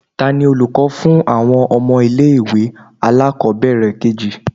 Tani olukọ fún awọn ọmọ ile-iwe alakobere keji?